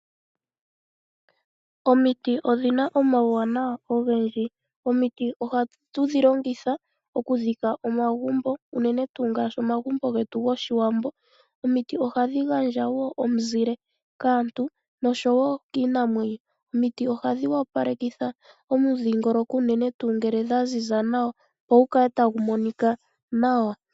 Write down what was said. Omiti odhi na omauwanawa ogendji. Ohatu dhi longitha okudhika omagumbo unene tuu gopashiwambo. Ohadhi gandja omizile kaantu nosho woo kiinamwenyo. Ohadhi opaleke omudhiingoloko unene tuu ngele dha ziza nawa opo gu kale tagu monika nawa.